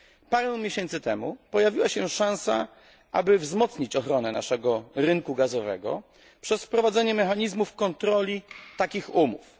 Parę miesięcy temu pojawiła się szansa, aby wzmocnić ochronę naszego rynku gazowego przez wprowadzenie mechanizmów kontroli takich umów.